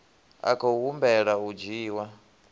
a khou humbela u dzhiwa